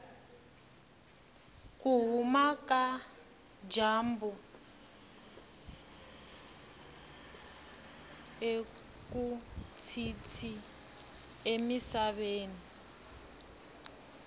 kuhhuma kajambu akutshintshi emisaveni